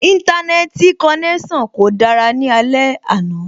Íńtánẹ́ẹ̀tì konẹ́sàn kò dára ní alẹ́ àná